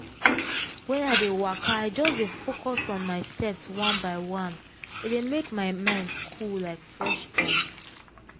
when i dey waka i just dey focus on my steps one by one. e dey make my mind cool like fresh air.